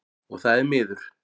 Og það er miður.